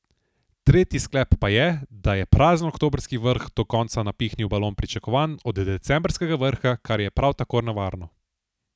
Tretji sklep pa je, da je prazen oktobrski vrh do konca napihnil balon pričakovanj od decembrskega vrha, kar je prav tako nevarno.